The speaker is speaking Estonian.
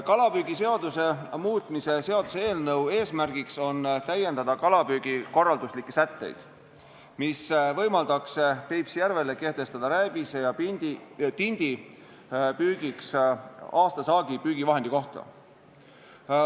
Kalapüügiseaduse muutmise seaduse eelnõu eesmärk on täiendada kalapüügi korralduslikke sätteid, mis võimaldaks Peipsi järvel kehtestada rääbise ja tindi püügiks aastasaagi püügivahendi kohta.